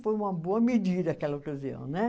Foi uma boa medida aquela ocasião, né?